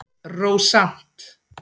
Rósant